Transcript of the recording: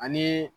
Ani